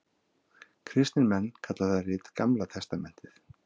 Kristnir menn kalla það rit Gamla testamentið.